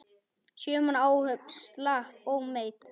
Sjö manna áhöfn slapp ómeidd.